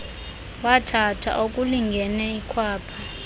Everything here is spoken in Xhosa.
wathatha okulingene ikhwapha